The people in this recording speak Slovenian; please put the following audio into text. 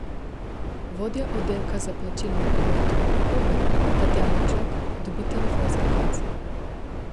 Vodja oddelka za plačilni promet v Luki Koper, Tatjana Čok, dobi telefonski klic.